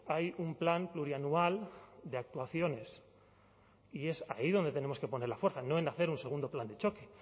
hay un plan plurianual de actuaciones y es ahí donde tenemos que poner la fuerza no en hacer un segundo plan de choque